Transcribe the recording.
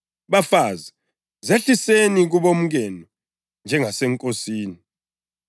Bafazi, zehliseni kubomkenu njengaseNkosini.